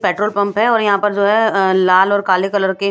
petrol pump है और यहाँ पर जो है अ लाल और काले कलर के --